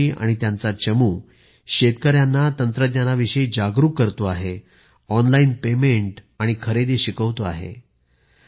अतुल जी आणि त्यांचा चमू शेतकऱ्यांना तंत्रज्ञान विषयी जागरूक करतो आहे ऑनलाइन पेमेंट आणि खरेदी शिकवतो आहे